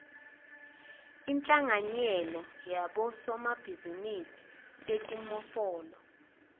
inhlanganyelo yabosomabhizinisi betimofolo